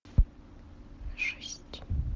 шесть